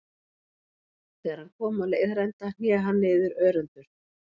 Þegar hann kom á leiðarenda hné hann niður örendur.